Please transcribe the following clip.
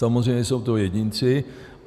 Samozřejmě jsou to jedinci.